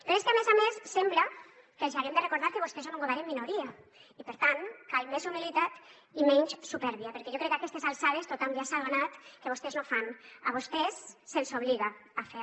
però és que a més a més sembla que els hi haguem de recordar que vostès són un govern en minoria i per tant cal més humilitat i menys supèrbia perquè jo crec que a aquestes alçades tothom ja s’ha adonat que vostès no fan a vostès se’ls obliga a fer